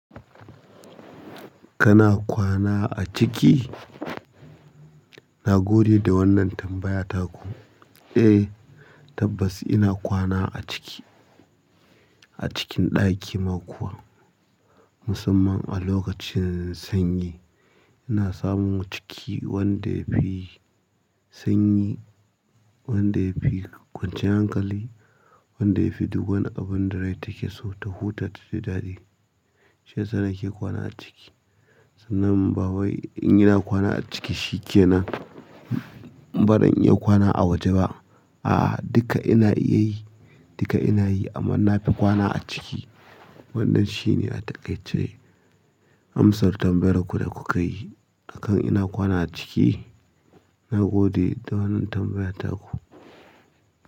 Kana kwana a ciki? Na gode da wannan tambaya taku. Eh, tabbas ina kwana a ciki. A cikin ɗaki ma kuwa, musamman a lokacin sanyi. Ina samun ciki wanda yafi sanyi, wanda yafi kwanciyar hankali, wanda yafi duk wani abin da rai take so ta huta taji daɗi. Shiyasa nake kwana a ciki. Sannan bawai in ina kwana a ciki shikenan, bazan iya kwana a waje ba. A'a, duka ina iya yi, duka ina yi amma na fi kwana a ciki. Wannan shine a takaice amsar tambayar ku da kukayi. Akan ina kwana a ciki? Na gode da wannan tambayar taku.